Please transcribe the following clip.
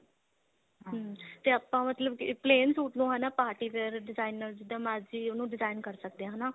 ਹਮ ਤੇ ਆਪਾਂ ਮਤਲਬ plain suit ਨੂੰ ਹਨਾ party wear designer ਜਿੱਦਾਂ ਮਰਜੀ ਉਹਨੂੰ design ਕਰ ਸਕਦੇ ਹਾਂ ਹਨਾ